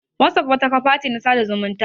Wazof wata kafa ce ta sada zumunta